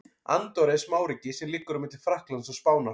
Andorra er smáríki sem liggur á milli Frakklands og Spánar.